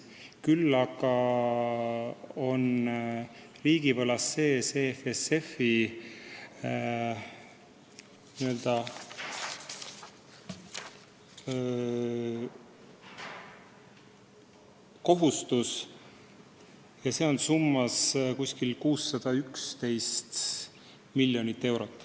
Küll aga on riigivõlas sees EFSF-iga seotud kohustus ja see on 611 miljonit eurot.